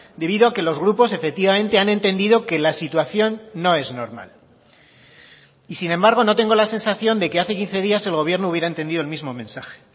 debido a que los grupos efectivamente han entendido que la situación no es normal y sin embargo no tengo la sensación de que hace quince días el gobierno hubiera entendido el mismo mensaje